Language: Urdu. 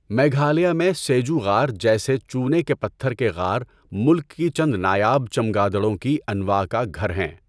میگھالیہ میں سیجو غار جیسے چونے کے پتھر کے غار ملک کی چند نایاب چمگادڑوں کی انواع کا گھر ہیں۔